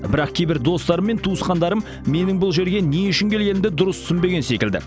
бірақ кейбір достарым мен туысқандарым менің бұл жерге не үшін келгенімді дұрыс түсінбеген секілді